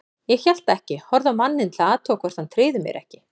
Ég hélt ekki, horfði á manninn til að athuga hvort hann tryði mér ekki.